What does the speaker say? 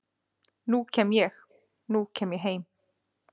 nú kem ég, nú kem ég heim